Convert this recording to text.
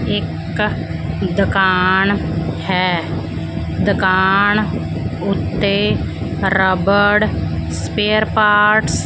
ਇਕ ਦੁਕਾਨ ਹੈ ਦੁਕਾਨ ਉੱਤੇ ਰਬੜ ਸਪੇਅਰ ਪਾਰਟਸ --